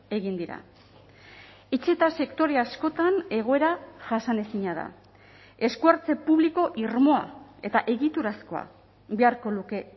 egin dira etxe eta sektore askotan egoera jasanezina da esku hartze publiko irmoa eta egiturazkoa beharko luke